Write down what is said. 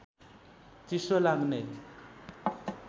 चिसो लाग्ने